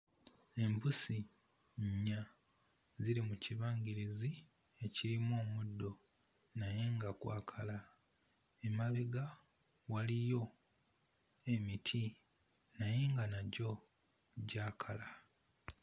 Embusi nnya ziri mu kibangirizi ekirimu omuddo naye nga gwakala emabega waliyo emiti naye nga nagyo gyakala.